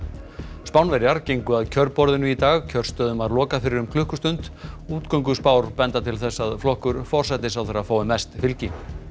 Spánverjar gengu að kjörborðinu í dag kjörstöðum var lokað fyrir klukkustund benda til þess að flokkur forsætisráðherra fái mest fylgi